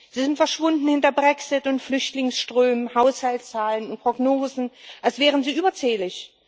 Sie sind verschwunden hinter Brexit und Flüchtlingsströmen, Haushaltszahlen und Prognosen, als wären sie überzählig.